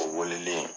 O weleli